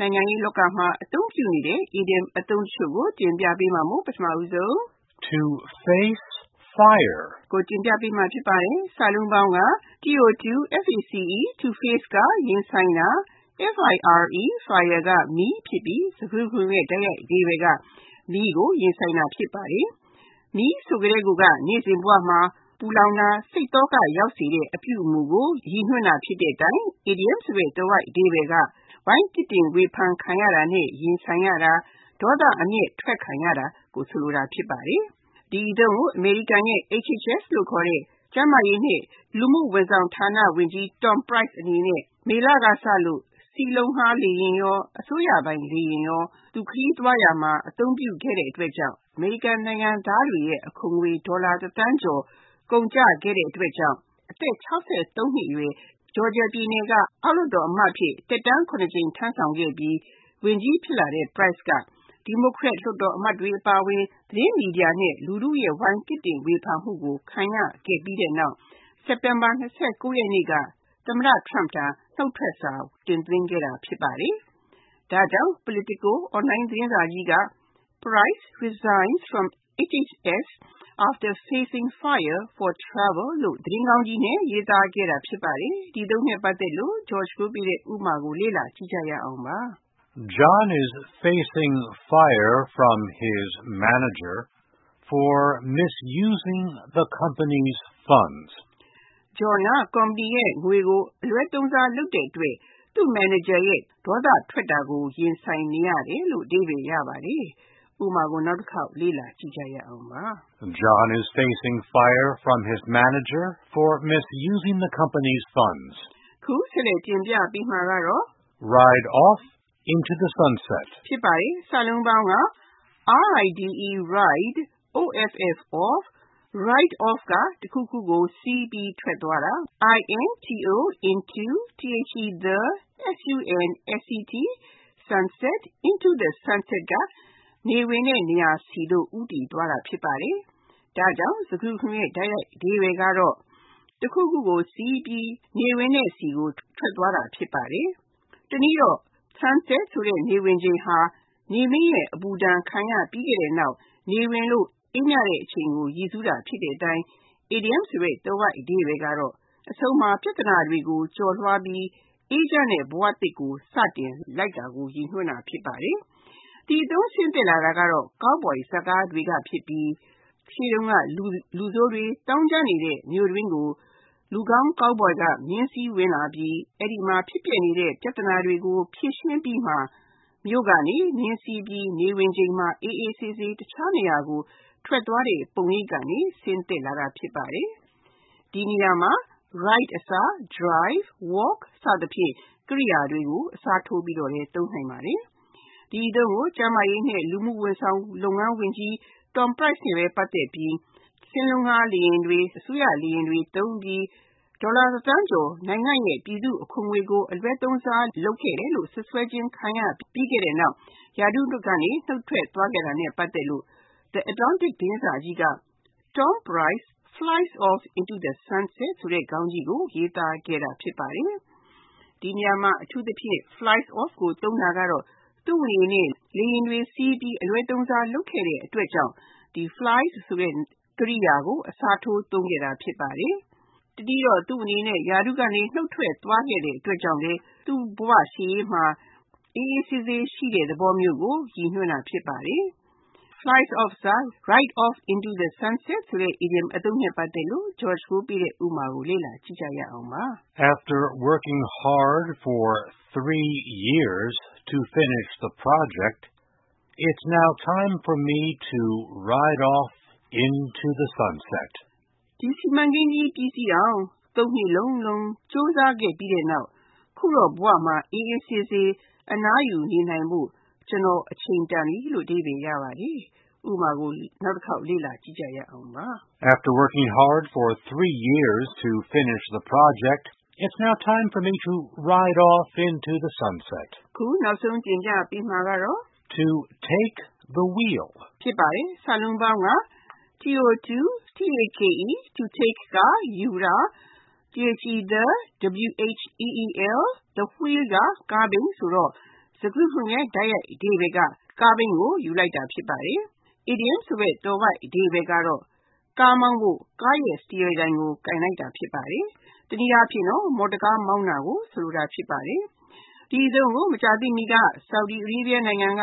နိုင်ငံရေးလောကမှာ သုံးနှုန်းနေတဲ့ အီဒီယံအသုံးတချို့ ဖြစ်တဲ့ To face fire, To ride off into the sunset နဲ့ To take the wheel တို့ကို တင်ပြထားပါတယ်။ (၁) To face fire To face (ရင်ဆိုင်တာ)၊ fire (မီး) ဖြစ်ပြီး၊ စကားစုတခုလုံးရဲ့ တိုက်ရိုက်အဓိပ္ပါယ်က မီးကိုရင်ဆိုင်တာ ဖြစ်ပါတယ်။ မီးဆိုကတည်းက နေ့စဉ်ဘဝမှာ ပူလောင်တဲ့၊ စိတ်သောကရောက်စေတဲ့ အပြုအမှုကို ရည်ညွှန်းတဲ့အတိုင်း အီဒီယံဆိုတဲ့ သွယ်ဝိုက်အဓိပ္ပါယ်က ဝိုင်းပြစ်တင်ဝေဖန်ခံရတာနဲ့ ရင်ဆိုင်ရတာ၊ ဒေါသအမျက်အထွက်ခံရတာကို ဆိုလိုတာ ဖြစ်ပါတယ်။ ဒီအသုံးကို အမေရိကန်ရဲ့ HHS (Health and Human Services) လို့ခေါ်တဲ့ ကျန်းမာရေးနဲ့ လူမှုဝန်ဆောင်လုပ်ငန်းဌါနဝန်ကြီး Tom Price အနေနဲ့ မေလကစလို့ စင်းလုံးငှားလေယာဉ်တွေ နဲ့ အစိုးရပိုင်လေယာဉ်တွေကို သူ ခရီးသွားရာမှာ အသုံးပြုခဲ့တဲ့အတွက် အမေရိကန်နိုင်ငံသားတွေရဲ့ အခွန်ငွေ ဒေါ်လာတစ်သန်းကျော် ကုန်ကျခဲ့တဲ့အတွက်ကြောင့် အသက် (၆၃) နှစ်အရွယ် Georgia ပြည်နယ်က အောက်လွှတ်တော်အမတ်အဖြစ် သက်တမ်း (၇) ကြိမ် ထမ်းဆောင်ခဲ့ပြီး ဝန်ကြီးဖြစ်လာတဲ့ Price အနေနဲ့ ဒီမိုကရက်လွှတ်တော်အမတ်တွေ အပါအဝင် သတင်းမီဒီယာ နဲ့ လူထုရဲ့ ဝိုင်းပြစ်တင်ဝေဖန်မှုကို ခံခဲ့ရပြီးနောက် စက်တင်ဘာ (၂၉) ရက်နေ့က သမ္မတ Trump ထံ နှုတ်ထွက်စာ တင်သွင်းခဲ့တာ ဖြစ်ပါတယ်။ ဒါကြောင့် Politico Online သတင်းစာကြီးက Price resigns from HHS after facing fire for travel လို့ သတင်းခေါင်းကြီးနဲ့ ရေးသားခဲ့တာ ဖြစ်ပါတယ်။ ဒီအသုံးနဲ့ပတ်သက်တဲ့ ဥပမာကို လေ့လာကြည့်ရအောင်ပါ။ John is facing fire from his manager for misusing the company’s funds. John က ကုမ္ပဏီရဲ့ ငွေကို အလွဲသုံးစားလုပ်တဲ့အတွက် သူ့မန်နေဂျာရဲ့ ဒေါသထွက်တာကို ခံနေရတယ်။ (၂) To ride off into the sunset Ride off (တခုခုကို စီးပြီး ထွက်သွားတာ)၊ into the sunset (နေဝင်တဲ့နေရာဆီသို့ ဦးတည်သွားတာ ဖြစ်ပါတယ်)ဖြစ်ပြီး ၊ စကားစုတခုလုံးရဲ့ တိုက်ရိုက်အဓိပ္ပါယ်က တခုခုကိုစီးပြီး နေဝင်တဲ့ဆီကို ဦးတည်ထွက်သွားတာ ဖြစ်ပါတယ်။ တနည်းတော့ Sunset ဆိုတဲ့ နေဝင်ချိန်ဟာ နေမင်းရဲ့ အပူဒဏ်ခံရပြီးနောက် နေဝင်လို့ အေးမြတဲ့အချိန်ကို ရည်းစူးတာ ဖြစ်တဲ့အတိုင်း အီဒီယံဆိုတဲ့ သွယ်ဝိုက်အဓိပ္ပါယ်က အဆုံးမှာ ပြဿနာတွေကို ကျော်လွှားပြီး အေးချမ်းတဲ့ဘဝသစ်ကို စတင်လိုက်တာကို ရည်ညွှန်းတာ ဖြစ်ပါတယ်။ ဒီအသုံးဆင်းသက်လာတာက Cowboy ဇာတ်ကားတွေကဖြစ်ပြီး ၊ လူဆိုးတွေ သောင်းကျန်းနေတဲ့ မြို့တွင်းကို လူကောင်း Cowboy က မြင်းစီးဝင်လာပြီး အဲဒီမှာ ဖြစ်ပျက်နေတဲ့ ပြဿနာတွေကို ဖြေရှင်းအပြီး၊ မြို့ကနေ မြင်းစီးပြီး နေဝင်ချိန်မှာ အေးအေးဆေးဆေး တခြားနေရာကို ထွက်သွားတဲ့ ပုံရိပ်ကနေ ဆင်းသက်လာတာ ဖြစ်ပါတယ်။ ဒီနေရာမှာ Ride အစား Drive, Walk စအစရှိတဲ့ ကြိယာတွေကိုလည်း အစားထိုးပြီး သုံးနိုင်ပါတယ်။ ဒီအသုံးကို ကျန်းမာရေးနဲ့ လူမှုဝန်ဆောင်လုပ်ငန်းဌါနဝန်ကြီး Tom Price က စင်းလုံးငှားလေယာဉ်တွေ၊ အစိုးရလေယာဉ်တွေသုံးပြီး ဒေါ်လာ တစ်သန်းကျော်ပြည်သူ့အခွန်ငွေကို အလွဲသုံးစား လုပ်ခဲ့တယ်လို့ စွပ်စွဲခြင်းခံရပြီးနောက် ရာထူးကနေ နှုတ်ထွက်သွားခဲ့တာနဲ့ ပတ်သက်လို့ The Atlantic သတင်းစာကြီးက Tom Price flies off into the sunset ခေါင်းကြီးကို ရေးသားခဲ့တာ ဖြစ်ပါတယ်။ ဒီနေရာမှာ Flies off ကို အသုံးပြုတာကတော့ သူ့အနေနဲ့ လေယာဉ်တွေစီးပြီး အလွဲသုံးစား လုပ်ခဲ့တဲ့အတွက်ကြောင့် Fly ဆိုတဲ့ ကြိယာကို အစားထိုးသုံးခဲ့တာ ဖြစ်ပါတယ်။ တနည်းတော့ လေယာဉ်ခရီးသွားကိစ္စတွေကြောင့်ရာထူးကနေ နှုတ်ထွက်ပေးခဲ့ရပြီးနောက်၊ ပြသနာရှုပ်ထွေး လှတဲ့ဝန်ကြီးတာဝန်တွေကိုစွန့်ခါ၊ ရှေ့ဘဝခရီး လေယာဉ်စီးပြီး အေးချမ်းတဲ့နေရာကိုသွားတဲ့သဘောမျိုးကို ရည်ညွှန်းတာ ဖြစ်ပါတယ်။ Fly off အစား Ride off into the sunset ဆိုတဲ့အီဒီယံအသုံးနဲ့ ပတ်သက်တဲ့ ဥပမာကို လေ့လာကြည့်ရအောင်ပါ။ After working hard for three years to finish the project, it’s now time for me to ride off into the sunset. ဒီစီမံကိန်းကြီး ပြီးစီးအောင် (၃) နှစ်လုံးလုံး ကြိုးစားခဲ့ပြီးနောက် အခုတော့ ဘဝမှာ အေးအေးဆေးဆေး အနားယူဖို့၊ ကျနော့်အတွက်အချိန်တန်ပြီ။ (၃) To take the wheel To take (ယူတာ)၊ the wheel (ကားဘီး) ဖြစ်ပြီး ၊ စကားစုတခုလုံးရဲ့ တိုက်ရိုက်အဓိပ္ပါယ်က ကားဘီးကို ယူလိုက်တာ ဖြစ်ပါတယ်။ အီဒီယံဆိုတဲ့ သွယ်ဝိုက်အဓိပ္ပါယ်က ကားမောင်းဖို့ ကားစတီယားတိုင်ကို ကိုင်လိုက်တာ ဖြစ်ပါတယ်။ တနည်းအားဖြင့် မော်တော်ကား မောင်းတာကို ဆိုလိုတာ ဖြစ်ပါတယ်။ ဒီအသုံးကို မကြာသေးမီက Saudi Arabia နိုင်ငံက